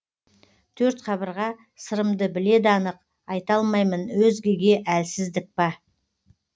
төрт қабырға сырымды біледі анық айталмаймын өзгеге әлсіздік па